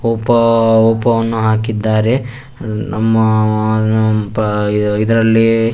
Oppo ಒಪ್ಪೋವನ್ನು ಹಾಕಿದ್ದಾರೆ ನಮ್ಮ ಆ ಆ ಇದರ ಇದರಲ್ಲಿ--